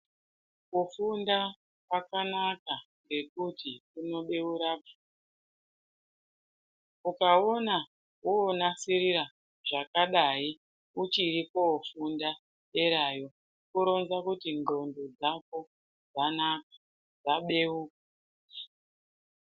Kufunda kwakanaka ngekuti kuno beura uka ona wonasirira zvaka dai uchiri kofunda derayo kuronza kuti ndxondo dzako dzanaka dza beuka.